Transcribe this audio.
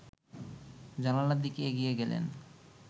জানালার দিকে এগিয়ে গেলেন